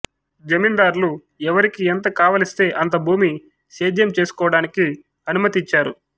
జమిందారులు ఎవరికి ఎంత కావలిస్తే అంత భూమి సేద్యం చేసుకొవడానికి అనుమతి ఇచ్చారు